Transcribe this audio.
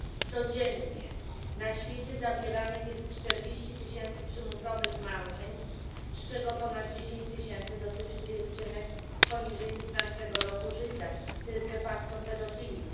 Codziennie na świecie zawieranych jest 40 tysięcy przymusowych małżeństw, z czego ponad 10 tysięcy dotyczy dziewczynek poniżej piętnastego roku życia, co jest de facto pedofilią.